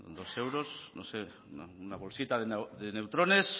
dos euros no sé una bolsita de neutrones